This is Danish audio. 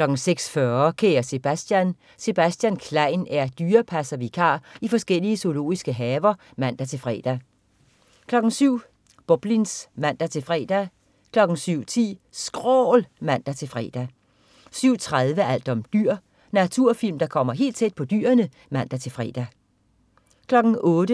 06.40 Kære Sebastian. Sebastian Klein er dyrepasservikar i forskellige zoologiske haver (man-fre) 07.00 Boblins (man-fre) 07.10 SKRÅL (man-fre) 07.30 Alt om dyr. Naturfilm der kommer helt tæt på dyrene (man-fre)